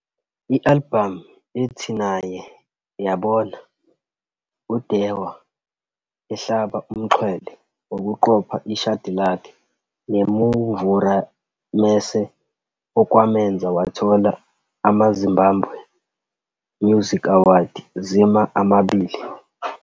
I-albhamu ethi "Naye" yabona uDhewa ehlaba umxhwele ngokuqopha ishadi lakhe "Nemumvura Mese" okwamenza wathola amaZimbabwe Music Award, ZIMA, amabili.